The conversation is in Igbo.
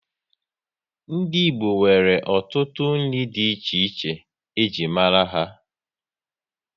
Ndị Igbo nwere ọtụtụ nri dị iche iche e ji mara ha